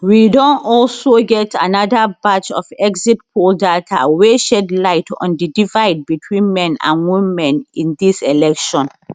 we don also get anoda batch of exit poll data wey shed light on di divide between men and women in tdis election